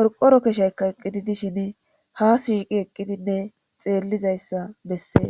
qorqoro keshaykka eqqidi dishin ha shiiqi eqqidinne xeellizayssa bessee